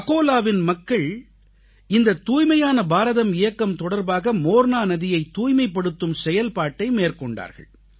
அகோலாவின் குடிமக்கள் இந்த தூய்மையான பாரதம் இயக்கம் தொடர்பாக மோர்னா நதியைத் தூய்மைப்படுத்தும் செயல்பாட்டை மேற்கொண்டார்கள்